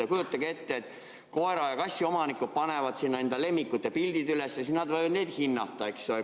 Kujutage ette, et koera- ja kassiomanikud panevad sinna enda lemmikute pildid üles ja siis nad võivad neid hinnata.